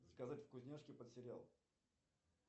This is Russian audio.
заказать вкусняшки под сериал